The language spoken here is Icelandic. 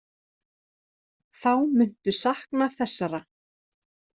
Þá muntu sakna þessara.